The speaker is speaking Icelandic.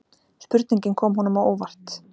Spurningin kom honum á óvart.